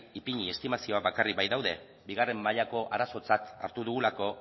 ipini estimazioak bakarrik baitaude bigarren mailako arazotzat hartu dugulako